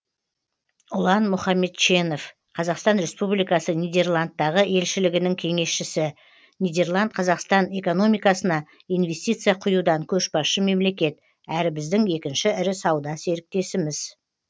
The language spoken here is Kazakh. ұлан мұхамедченов қазақстан республикасының нидерландтағы елшілігінің кеңесшісі нидерланд қазақстан экономикасына инвестиция құюдан көшбасшы мемлекет әрі біздің екінші ірі сауда серіктесіміз